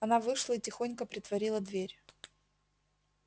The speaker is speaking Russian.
она вышла и тихонько притворила дверь